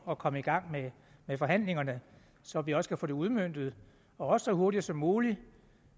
at komme i gang med forhandlingerne så vi også kan få det udmøntet og også så hurtigt som muligt